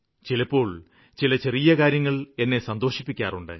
ചിലപ്പോള് ചില ചെറിയ കാര്യങ്ങള് എന്നെ സന്തോഷിപ്പിക്കാറുണ്ട്